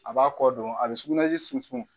A b'a kɔ don a bɛ sugunɛji sunsun